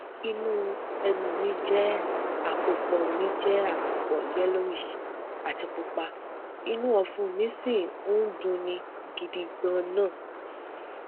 inú ẹnu mi jẹ àpòpọ mi jẹ àpòpọ yellowish àti pupa inú ọfun mi sì ń dunni gidi ganan